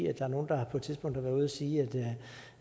er nogle der på et tidspunkt har været ude at sige